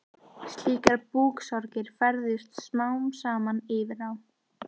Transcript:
Slíkar búksorgir færðust smám saman yfir á